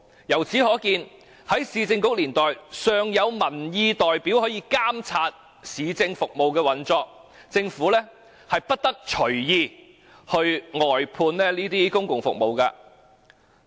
由此可見，在市政局年代，尚有民意代表可以監察市政服務的運作，政府不得隨意外判這些公共服務。